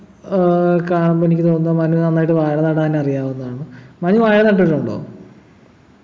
ഏർ കാണുമ്പോ എനിക്ക് തോന്നുന്നെ മനുവിന് നന്നായിട്ട് വാഴ നടാൻ അറിയാമെന്നാണ് മനു വാഴ നട്ടിട്ടുണ്ടോ